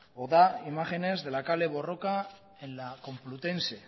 o da imágenes de la kale borroka en la complutense